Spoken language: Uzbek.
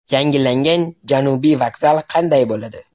Yangilangan Janubiy vokzal qanday bo‘ladi?.